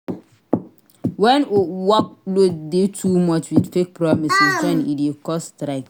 When workloads de too much with fake promises join e de cause strike